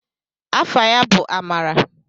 Afa ya bụ Amara.